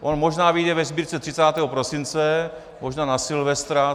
On možná vyjde ve Sbírce 30. prosince, možná na Silvestra.